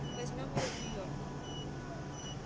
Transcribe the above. мы возьмём её в нью-йорк